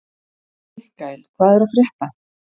Mikkael, hvað er að frétta?